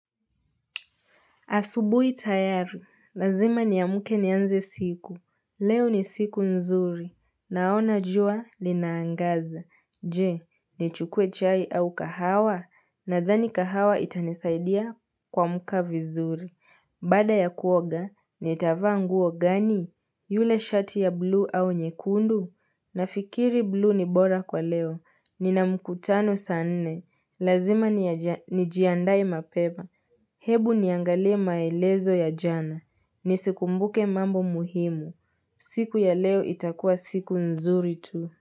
Asubui tayaru, lazima niamke nianze siku, leo ni siku nzuri, naona jua linaangaza, je, ni chukue chai au kahawa, nadhani kahawa itanisaidia kuamka vizuri, baada ya kuoga, nitavaa nguo gani, yule shati ya blu au nyekundu, nafikiri blu ni bora kwa leo, nina mkutano saa nne, lazima nijiandae mapema, Hebu niangalie maelezo ya jana. Nisikumbuke mambo muhimu. Siku ya leo itakua siku nzuri tu.